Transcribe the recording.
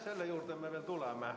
Selle juurde me tuleme.